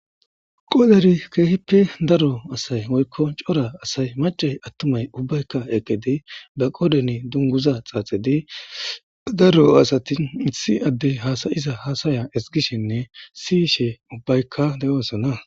Qodan keehippe daro asay woykko cora asay macay attumay ubbaykka eqede ba qodene dunguza xaaxedi daro asatin ithi addey haasayiza haasaya esgishenne siishe ubbaykka de7oosana.